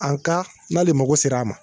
An ka n'ale mago ser'a ma